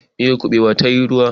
miyar kubewa ta yi ruwa